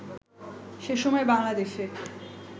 সে সময়ে বাঙলা দেশে